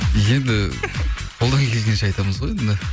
енді қолдан келгенше айтамыз ғой енді